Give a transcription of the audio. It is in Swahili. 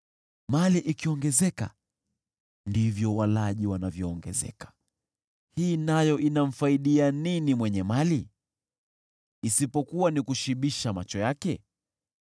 Mali ikiongezeka, ndivyo walaji wanavyoongezeka. Hii nayo inamfaidia nini mwenye mali isipokuwa ni kushibisha macho yake?